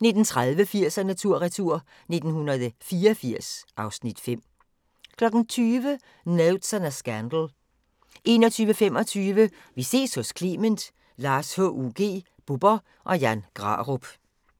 19:30: 80'erne tur/retur: 1984 (Afs. 5) 20:00: Notes on a Scandal 21:25: Vi ses hos Clement: Lars HUG, Bubber og Jan Grarup